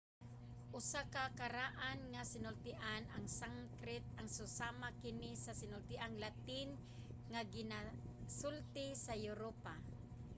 usa ka karaan nga sinultian ang sanskrit ug susama kini sa sinultiang latin nga ginasulti sa europa